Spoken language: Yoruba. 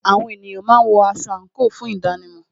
Àwọn ènìyàn máa ń wọ aṣọ àńkò fún ìdánimò